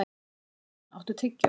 Bjarnrún, áttu tyggjó?